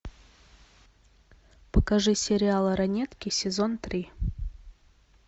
покажи сериал ранетки сезон три